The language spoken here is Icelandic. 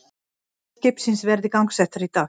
Vélar skipsins verði gangsettar í dag